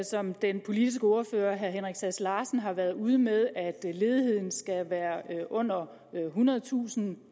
som den politiske ordfører herre henrik sass larsen har været ude med altså at ledigheden skal være under ethundredetusind